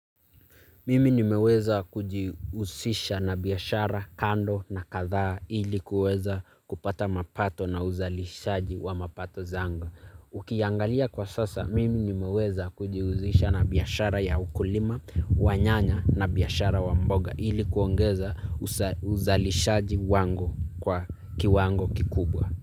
Mimi nimeweza kujiusisha na biashara kando na kadhaa ili kuweza kupata mapato na uzalishaji wa mapato zangu. Ukiangalia kwa sasa, mimi nimeweza kujiuzisha na biashara ya ukulima, wa nyanya na biashara wa mboga ili kuongeza uzalishaji wangu kwa kiwango kikubwa.